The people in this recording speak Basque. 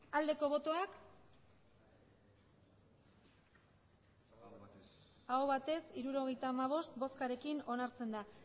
aldeko botoak emandako botoak hirurogeita hamabost bai hirurogeita hamabost aho batez hirurogeita hamabost boskarekin onartzen da